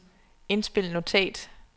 indspil notat